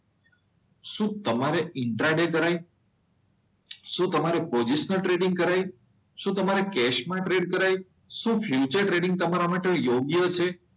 શું તમારે intraday કરાય? શું તમારે પોઝિશનલ ટ્રેડિંગ કરાય? શું તમારે ગેસમાં ટ્રેડ કરાય? શું ફ્યુચર ટ્રેડિંગ તમારા માટે યોગ્ય છે?